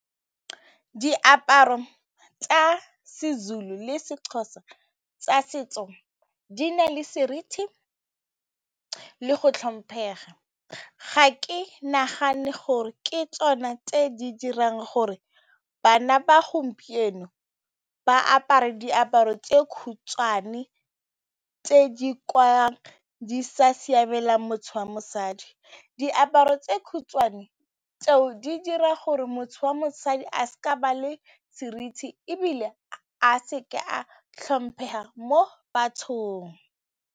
Diaparo tsa Sezulu le Sexhosa tsa setso di na le seriti le go tlhomphega, ga ke nagane gore ke tsone tse di dirang gore bana ba gompieno ba apare diaparo tse khutshwane tse di sa siamelang mosadi, diaparo tse khutshwane tseo di dira gore motho wa mosadi a seka ba le seriti ebile a seka a tlhomphega mo bathong.